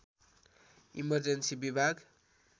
emergency विभाग